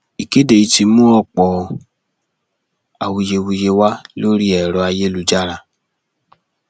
ìkéde yìí ti mú ọpọ awuyewuye wá lórí ẹrọ ayélujára